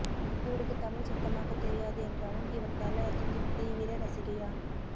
இவருக்கு தமிழ் சுத்தமாக தெரியாது என்றாலும் இவர் தல அஜித்தின் தீவிர ரசிகையாம்